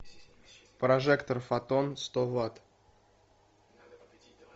прожектор фотон сто ватт